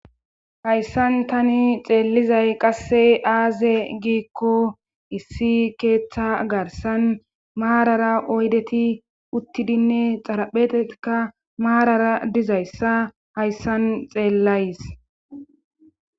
hayssan tani xeellizay qasse aaze giikko issi keeththa garsan maarara oydeti uttidinne xarapheteka maarara dizayssa hayssan xeellays